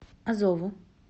азову